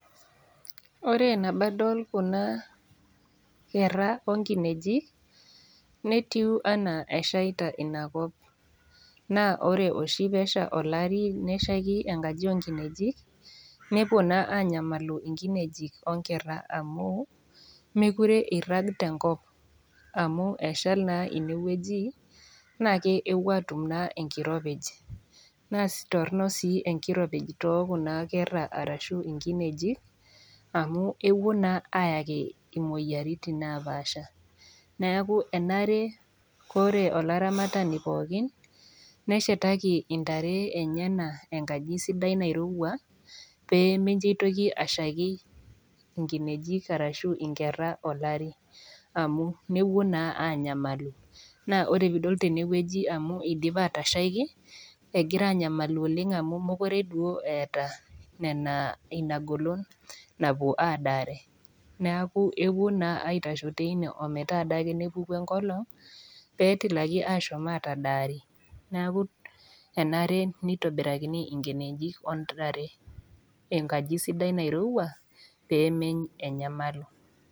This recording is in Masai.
Ore nabo adol Kuna kera o inkinejik, netiu anaa eshaita Ina kop, naa ore oshi pee esha olari neshaiki enkaji oo nkinejik, nepuo naa anyamalu inkinejik o nkera amu, mekure eirag tenkop amu eshali naa ine wueji naake epuo aatum naa enkiropij, naa torno sii enkijape too Kuna kera arashu inkinejik amu ewuo naa ayaki imoyaritin napaasha. Neaku enare Kore olaramatani pookin, neshataki intare enyena enkaji sidai nairouwa pee minjo eitoki ashaiki inkinejik arashu inkera olari amu nepuo naa anyamalu, naa ore pee idol tenewueji eidipa atashaiki, egira anyamalu oleng' mekure duo eata Nena, Ina golon napuo aadare, neaku epuo naa aitashe ake teine ometaa nepuku enkolong' pee etilaki ashom atadaari, neaku enare neitobirakini inkinejik o intare enkaji sidai nairouwa peemenyamalu.